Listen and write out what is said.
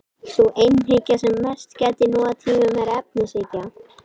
Sú einhyggja sem mest gætir nú á tímum er efnishyggja.